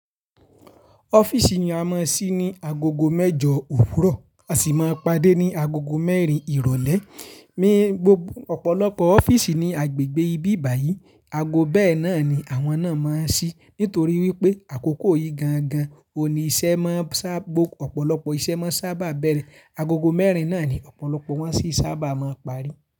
Ọ́fíìsì ni a máa ń sí ní agogo mẹ́jọ òwúrọ̀, a sì máa ń pàdé ní agogo mẹ́rin ìrọ̀lẹ́. Mí gbogbo ọ̀pọ̀lọpọ̀ ọ́fíìsì ní agbègbè ibi báyìí, ago bẹ́ẹ̀ náà ni àwọn náà máa ń sí nítorí wípé àkókò yìí gan-an gan-an òní iṣẹ́ máa ń sá ọ̀pọ̀lọpọ̀ iṣẹ́ má ń sábà bẹ̀rẹ̀. Agogo mẹ́rin náà ni ọ̀pọ̀lọpọ̀ wọn sì sábà máa ń parí.